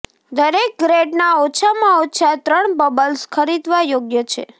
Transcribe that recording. દરેક ગ્રેડના ઓછામાં ઓછા ત્રણ બલ્બ્સ ખરીદવા યોગ્ય છે